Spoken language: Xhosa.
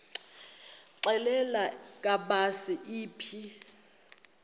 xelel kabs iphi